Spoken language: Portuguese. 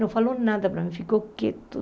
Não falou nada para mim, ficou quieto.